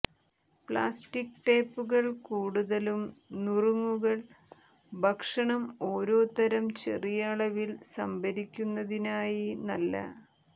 plastic ടേപ്പുകൾ കൂടുതലും നുറുങ്ങുകൾ ഭക്ഷണം ഓരോതരം ചെറിയ അളവിൽ സംഭരിക്കുന്നതിനായി നല്ല